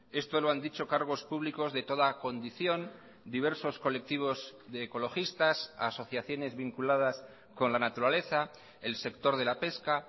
esto lo han dicho cargos públicos de toda condición diversos colectivos de ecologistas asociaciones vinculadas con la naturaleza el sector de la pesca